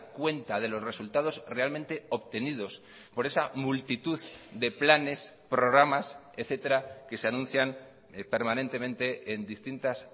cuenta de los resultados realmente obtenidos por esa multitud de planes programas etcétera que se anuncian permanentemente en distintas